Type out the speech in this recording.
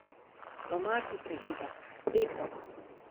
Domače seveda, eko.